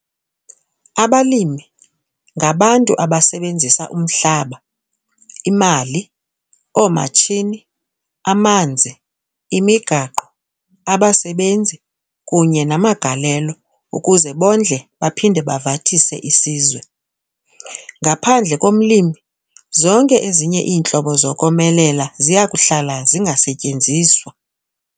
Abalimi ngabantu abasebenzisa umhlaba, imali, oomatshini, amanzi, imigaqo, abasebenzi kunye namagalelo ukuze bondle baphinde bavathise isizwe. Ngaphandle komlimi, zonke ezinye iintlobo zokomelela ziya kuhlala zingasetyenziswa.